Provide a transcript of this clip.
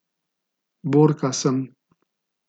Borka sem.